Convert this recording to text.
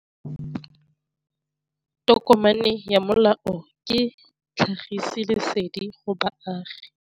Tokomane ya molao ke tlhagisi lesedi go baagi.